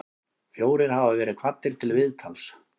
Fjórir hafa verið kvaddir til viðtals